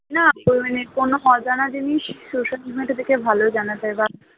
না মানে কোন অজানা জিনিস social media থেকে ভালো জানা যায় বা